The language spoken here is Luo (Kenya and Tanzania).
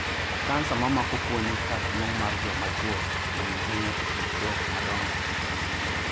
Kansa mamako fuoni kardung'o mar jo machwo ng'eny ahinya e kind chwo madongo.